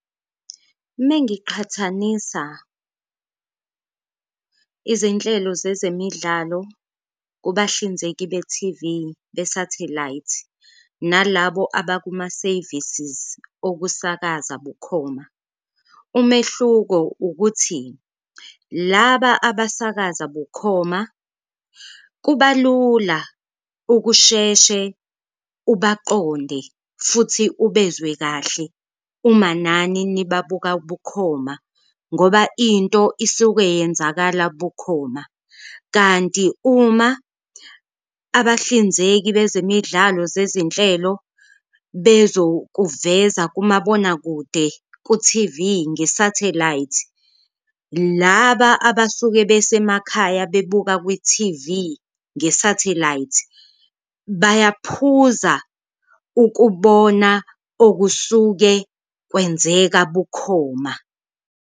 Mengiqhathanisa izinhlelo zezemidlalo kubahlinzeki be-T_V besathelayithi nalabo abakuma-services okusakaza bukhoma, umehluko ukuthi laba abasakaza bukhoma kuba lula ukusheshe ubaqonde futhi ubezwe kahle uma nani nibabuka bukhoma ngoba into isuke yenzakala bukhoma. Kanti uma abahlinzeki bezemidlalo zezinhlelo bezokuveza kumabonakude ku-T_V ngesathelayithi, laba abasuke besemakhaya bebuka kwi-T_V ngesathelayithi bayaphuza ukubona okusuke kwenzeka bukhoma.